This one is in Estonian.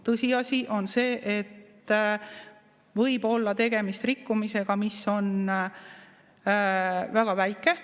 Tõsiasi on see, et võib olla tegemist rikkumisega, mis on väga väike.